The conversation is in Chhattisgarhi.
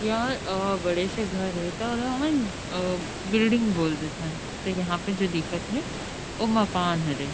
यहां अ बड़े से घर हे ता ओला हमन बिल्डिंग बोल देथन लेकिन यहां पे जो दिखत थे जो मकान हरे।